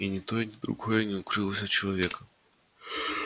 и ни то ни другое не укрылось от человека